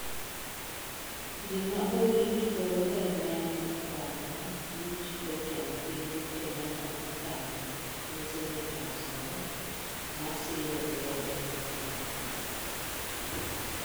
Gima orit koro en neno okang' ma buch jatend piny Kenyatta dhikawo ne senetas go masiro lwedo bwana.